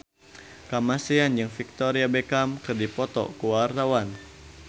Kamasean jeung Victoria Beckham keur dipoto ku wartawan